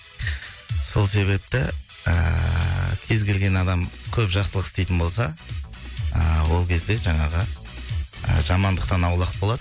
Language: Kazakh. сол себепті ыыы кез келген адам көп жақсылық істейтін болса ыыы ол кезде жаңағы ы жамандықтан аулақ болады